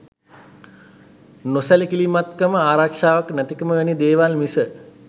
නොසැලකිලිමත්කම ආරක්ෂාවක් නැති කම වැනි දේවල් මිස